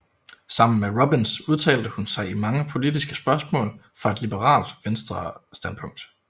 Sammen med Robbins udtalte hun sig i mange politiske spørgsmål fra et liberalt venstrestandpunkt